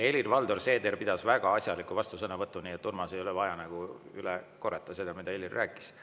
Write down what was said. Helir-Valdor Seeder pidas väga asjaliku vastusõnavõtu, nii et Urmasel ei ole vaja seda üle korrata, mida Helir rääkis.